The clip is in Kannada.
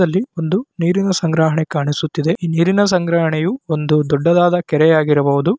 ಈ ಚಿತ್ರದಲ್ಲಿ ಒಂದು ನೀರಿನ ಸಂಗ್ರಹಣೆ ಕಾಣಿಸುತ್ತಿದೆ. ಈ ನೀರಿನ ಸಂಗ್ರಹಣೆಯು ಒಂದು ದೊಡ್ಡದಾದ ಕೆರೆಯಾಗಿರಬಹುದು.